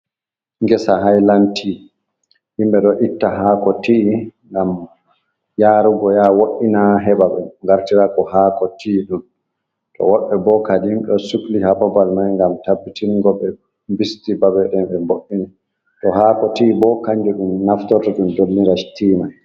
Ngesa highland tii, himɓe ɗo itta haako til ni ngam yarugo yaha woina heɓa be wartira ko haako til mai, to woɓɓe bo kadhi ɗo sukli ha babal mai ngam tabbitingo ɓe bisti babe ɗe ɓe mboini, to haako til bo kanjum ɗum naftorto ɗum dolla tii mai.